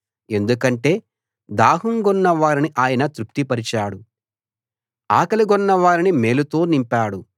ఎందుకంటే దాహం గొన్న వారిని ఆయన తృప్తిపరచాడు ఆకలి గొన్నవారిని మేలుతో నింపాడు